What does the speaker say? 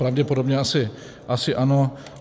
Pravděpodobně asi ano.